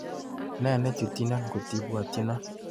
Ne nechutyino ngotibwatyino?